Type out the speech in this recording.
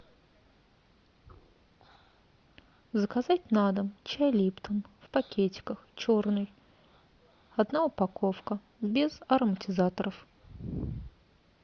заказать на дом чай липтон в пакетиках черный одна упаковка без ароматизаторов